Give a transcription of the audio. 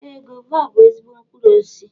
Ee, gova bú ezigbo mkpụrụ osisi